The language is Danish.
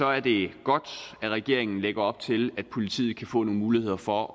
er det godt at regeringen lægger op til at politiet kan få nogle muligheder for